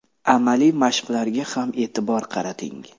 Amaliy mashqlarga ham e’tibor qarating.